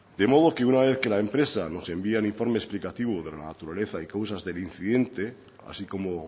de modo que una vez que la empresa nos envía el informe explicativo de la naturaleza y causas del incidente así como